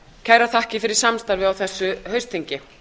kærar þakkir fyrir samstarfið á þessu haustþingi